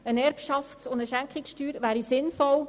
Eine Erbschafts- und eine Schenkungssteuer wären sinnvoll.